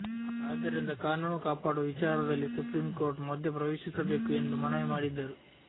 ಆದ್ದರಿಂದ ಕಾನೂನು ಕಾಪಾಡುವ ವಿಚಾರದಲ್ಲಿ ಸುಪ್ರೀಂಕೋರ್ಟ್ ಮಧ್ಯಪ್ರವೇಶಿಸಬೇಕು ಎಂದು ಮನವಿ ಮಾಡಿದ್ದರು